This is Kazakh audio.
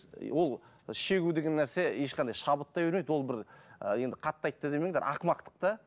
ол шегу деген нәрсе ешқандай шабыт та бермейді ол бір і енді қатты айтты демеңдер ақымақтық да